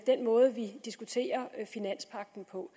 den måde vi diskuterer finanspagten på